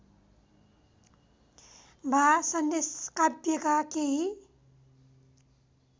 वा सन्देशकाव्यका केही